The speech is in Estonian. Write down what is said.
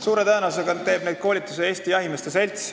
Suure tõenäosusega teeb neid koolitusi Eesti Jahimeeste Selts.